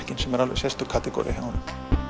sem er önnur sérstök kategoría hjá honum